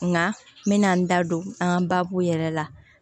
Nka n bɛna n da don an ka baabu yɛrɛ la